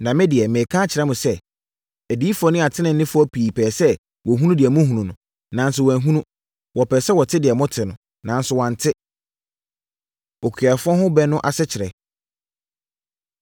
Na me deɛ mereka akyerɛ mo sɛ, adiyifoɔ ne ateneneefoɔ pii pɛɛ sɛ wɔhunu deɛ mohunu no, nanso wɔanhunu. Wɔpɛɛ sɛ wɔte deɛ mote no, nanso wɔante. Okuafoɔ Ho Ɛbɛ No Asekyerɛ